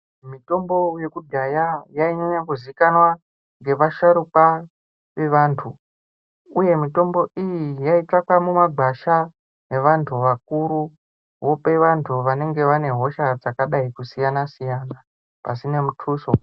Mitombo yekudhaya yainyanya kuzikanwa ngevasharukwa vevantu, uye mitombo iyi yaitsvakwa mumagwasha ngevantu vakuru, vope vantu vanenge vane hosha dzakadai kusiyana-siyana pasine mutuso.